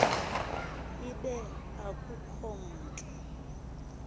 ibe akukho mntu